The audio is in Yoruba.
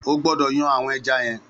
Ó gbọdọ yàn awọn ẹ̀já yen